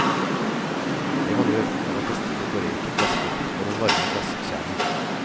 Det man gjør, er å feste dekorerte klassbiter på den varme glasskjernen.